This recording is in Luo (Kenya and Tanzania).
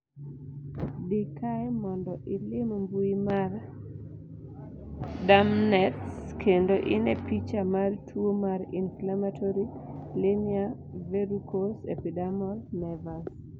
dii kae mondo ilim mbui mar dermnetnz kendo ine picha mar tuo mar Inflammatory linear verrucous epidermal nevus